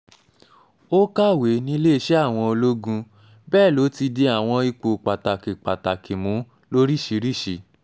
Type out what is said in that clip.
ó kàwé níléeṣẹ́ àwọn ológun bẹ́ẹ̀ ló ti di àwọn ipò pàtàkì pàtàkì mú lóríṣìíríṣìí